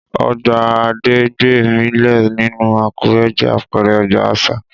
Ọgbà Adégbémilé nílùú Àkúrẹ́ jẹ́ àpẹẹrẹ ọgbà àṣà